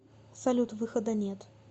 салют выхода нет